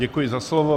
Děkuji za slovo.